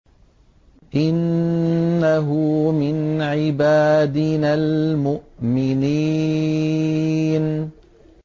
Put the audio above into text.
إِنَّهُ مِنْ عِبَادِنَا الْمُؤْمِنِينَ